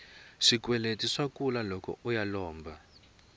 swikweleti swa kula loko uya u lomba